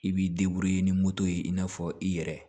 I b'i ni moto ye i n'a fɔ i yɛrɛ